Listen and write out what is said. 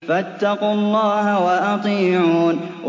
فَاتَّقُوا اللَّهَ وَأَطِيعُونِ